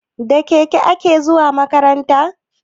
Da keke kake zuwa makaranta?